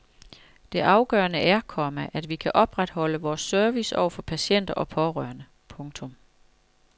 Det afgørende er, komma at vi kan opretholde vores service over for patienter og pårørende. punktum